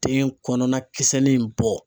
Den kɔnɔna kisɛ nin bɔ.